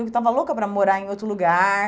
Eu que estava louca para morar em outro lugar.